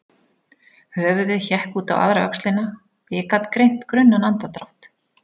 Höfuðið hékk út á aðra öxlina og ég gat greint grunnan andardrátt.